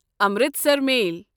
Amritsar میل